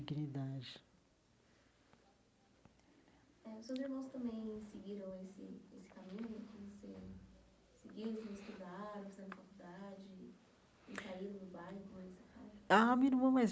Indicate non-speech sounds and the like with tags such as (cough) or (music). eh os seus irmãos também seguiram esse esse caminho (unintelligible) seguiram, se misturaram, fizeram faculdade e e saíram no bairro (unintelligible) a minha irmã mais